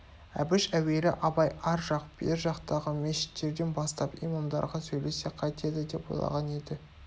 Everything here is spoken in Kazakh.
әбіш әуелі абай ар жақ бер жақтағы мешіттерден бастап имамдарға сөйлессе қайтеді деп ойлаған еді